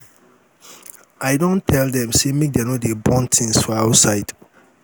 i um don tell dem sey make dem no dey burn um tins for outside.